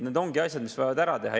Need ongi asjad, mis on vaja ära teha.